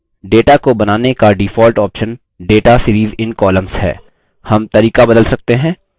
data को बनाने का default option data series in columns है